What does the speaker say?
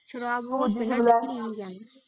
ਸ਼ਰਾਬ ਨੂੰ ਉਹ ਦਿਨ ਹੀ ਲੈ।